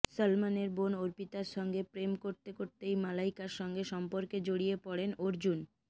সলমনের বোন অর্পিতার সঙ্গে প্রেম করতে করতেই মালাইকার সঙ্গে সম্পর্কে জড়িয়ে পড়েন অর্জুন